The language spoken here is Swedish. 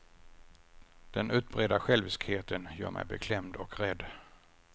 Den utbredda själviskheten gör mig beklämd och rädd.